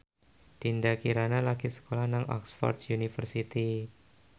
Dinda Kirana lagi sekolah nang Oxford university